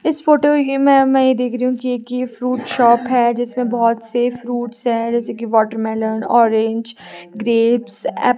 इस फोटो में मैं देख रही हु की एक ये फ्रूट शॉप हैं जिसमें बहोत से फ्रूट्स हैं जैसे की वाटरमेलन ऑरेंज ग्रेप्स ॲप--